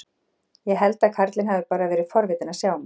Ég held að karlinn hafi bara verið forvitinn að sjá mig.